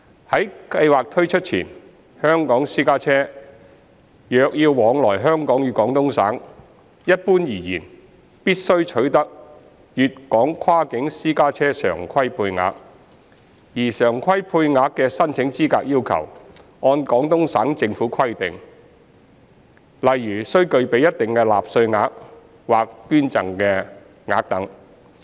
在計劃推出前，香港私家車若要往來香港與廣東省，一般而言必須取得粵港跨境私家車常規配額，而常規配額的申請資格要求按廣東省政府規定，例如須具備一定納稅額或捐贈額等。